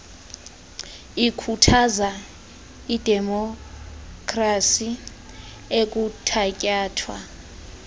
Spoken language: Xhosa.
ikhuthaza idemopkhrasi ekuthatyathwa